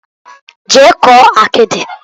Jee kụọ akidiǃ